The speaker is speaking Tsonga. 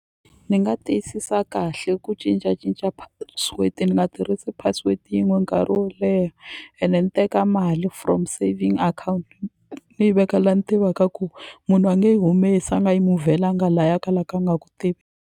Ni nga tiyisisa kahle ku cincacinca password ni nga tirhisi password yin'we nkarhi wo leha ene ni teka mali from saving account ni yi veka la ni tivaka ku munhu a nge yi humesi a nga yi move-laka la ya ka la ka a nga ku tivi.